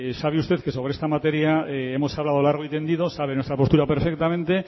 sabe usted que sobre esta materia hemos hablado largo y tendido sabe nuestra postura perfectamente